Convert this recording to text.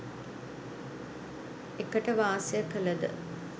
එකට වාසය කළද